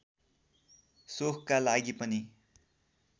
शोखका लागि पनि